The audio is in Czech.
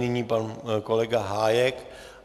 Nyní pan kolega Hájek.